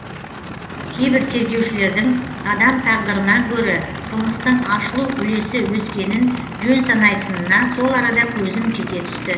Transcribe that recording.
кейбір тергеушілердің адам тағдырынан гөрі қылмыстың ашылу үлесі өскенін жөн санайтынына сол арада көзім жете түсті